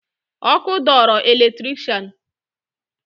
Ọkụ dọọrọ eletrikshan